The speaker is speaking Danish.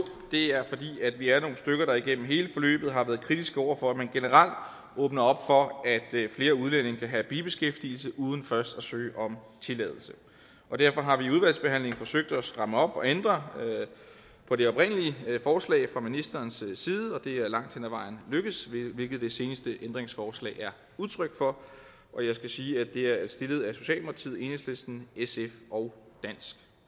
det er fordi vi er nogle stykker der igennem hele forløbet har været kritiske over for at man generelt åbner op for at flere udlændinge kan have bibeskæftigelse uden først at søge om tilladelse og derfor har vi i udvalgsbehandlingen forsøgt at stramme op og ændre på det oprindelige forslag fra ministerens side og det er langt hen ad vejen lykkedes hvilket det seneste ændringsforslag er udtryk for jeg skal sige at det er stillet af socialdemokratiet enhedslisten sf og dansk